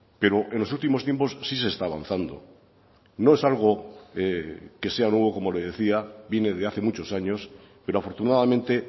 pero en los últimos tiempos sí se está avanzando no es algo que sea nuevo como le decía viene de hace muchos años pero afortunadamente